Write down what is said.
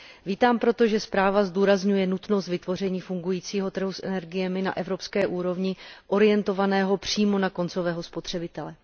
Vítám proto, že zpráva zdůrazňuje nutnost vytvoření fungujícího trhu s energiemi na evropské úrovni orientovaného přímo na koncového spotřebitele.